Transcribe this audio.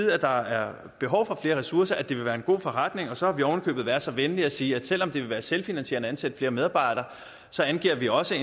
at der er behov for flere ressourcer at det vil være en god forretning så har vi oven i købet været så venlige at sige at selv om det vil være selvfinansierende at ansætte flere medarbejdere så angiver vi også